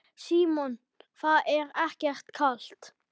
Símon: Það er ekkert kalt?